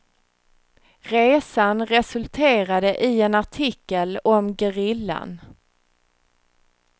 Resan resulterade i en artikel om gerillan.